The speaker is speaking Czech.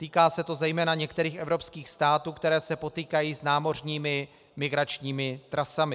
Týká se to zejména některých evropských států, které se potýkají s námořními migračními trasami.